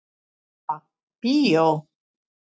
Ha, bíó?